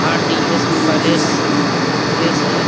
RDS. Place place है।